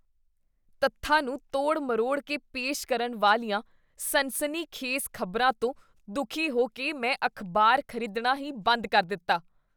ਤੱਥਾਂ ਨੂੰ ਤੋੜ ਮਰੋੜ ਕੇ ਪੇਸ਼ ਕਰਨ ਵਾਲੀਆਂ ਸਨਸਨੀਖੇਜ਼ ਖ਼ਬਰਾਂ ਤੋਂ ਦੁਖੀ ਹੋ ਕੇ ਮੈਂ ਅਖ਼ਬਾਰ ਖ਼ਰੀਦਣਾ ਹੀ ਬੰਦ ਕਰ ਦਿੱਤਾ।